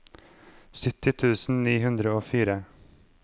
sytti tusen ni hundre og fire